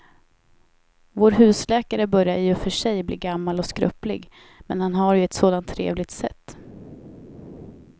Vår husläkare börjar i och för sig bli gammal och skröplig, men han har ju ett sådant trevligt sätt!